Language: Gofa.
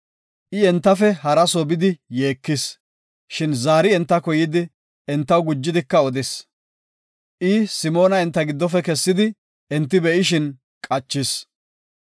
I entafe haraso bidi yeekis. Shin zaari entako yidi, entaw gujidika odis. I Simoona enta giddofe kessidi enti be7ishin qachis.